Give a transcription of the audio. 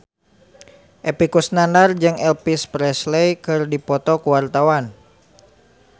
Epy Kusnandar jeung Elvis Presley keur dipoto ku wartawan